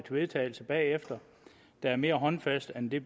vedtagelse bagefter der er mere håndfast end det